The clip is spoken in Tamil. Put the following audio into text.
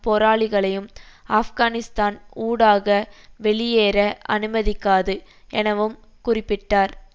போராளிகளையும் ஆப்கானிஸ்தான் ஊடாக வெளியேற அனுமதிக்காது எனவும் குறிப்பிட்டார்